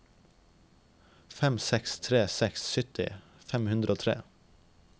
fem seks tre seks sytti fem hundre og tre